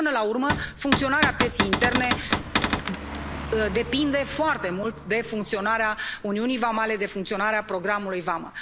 Până la urmă, funcționarea pieței interne depinde foarte mult de funcționarea uniunii vamale, de funcționarea programului Vamă.